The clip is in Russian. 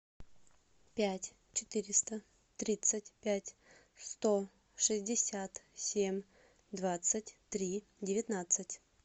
пять четыреста тридцать пять сто шестьдесят семь двадцать три девятнадцать